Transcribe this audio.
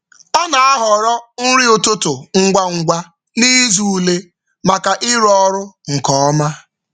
Ọ na-ahọrọ nri ụtụtụ ngwa ngwa n’izu ule maka ịrụ ọrụ nke ọma.